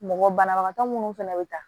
Mɔgɔ banabagatɔ minnu fɛnɛ bɛ taa